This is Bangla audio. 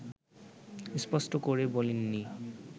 স্পষ্ট করে বলেননি